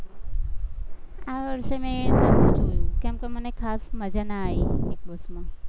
આ વર્ષે મેં કેમકે મને ખાસ મજા ના આયી